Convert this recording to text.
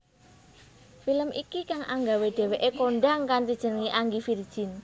Film iki kang anggawe dheweké kondhang kanthi jeneng Angie Virgin